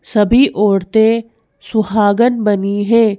सभी औरतें सुहागन बनी है।